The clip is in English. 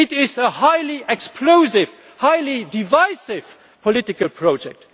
It is a highly explosive, highly divisive, political project.